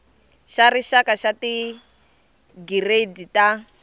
xa rixaka xa tigiredi ta